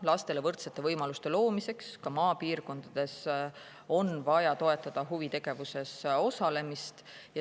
Lastele võrdsete võimaluste loomiseks ka maapiirkondades on vaja toetada huvitegevuses osalemist.